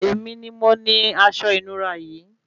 Èmi ni mo ni asọ ìnura yìí